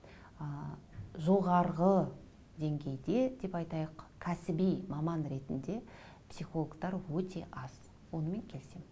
ы жоғарғы денгейде деп айтайық кәсіби маман ретінде психологтар өте аз онымен келісемін